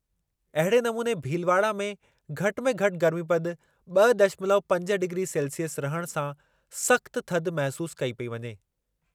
अहिड़े नमूने भीलवाड़ा में घटि में घटि गर्मीपदु ॿ दशमल्व पंज डिग्री सेल्सिअस रहण सां सख़्त थधि महसूसु कई पेई वञे।